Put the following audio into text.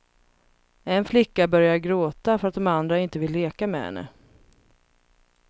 En flicka börjar gråta för att de andra inte vill leka med henne.